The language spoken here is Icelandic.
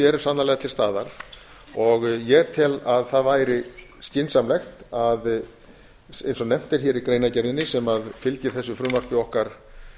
eru sannarlega til staðar ég tel að það væri skynsamlegt eins og nefnt er hér í greinargerðinni sem fylgir þessu frumvarpi okkar